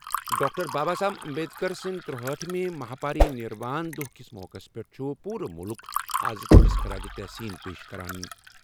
Doctor Baba Saheb Ambedkar سٕنٛدِ ترٗہأٹھ ہِمہِ مہاپاری نِروان دۄہ کِس موقعس پٮ۪ٹھ چھُ پوٗرٕ مُلُک آز تٔمِس خراج تحسین پیش کران۔